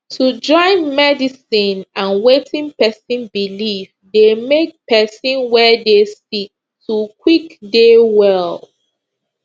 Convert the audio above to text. to join medicine and wetin pesin believe dey make pesin wey dey sick to quick dey well